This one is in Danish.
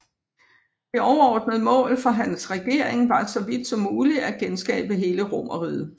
Det overordnede mål for hans regering var så vidt som muligt at genskabe hele Romerriget